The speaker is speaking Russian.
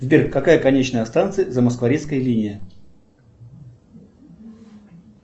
сбер какая конечная станция замоскворецкая линия